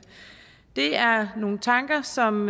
det er nogle tanker som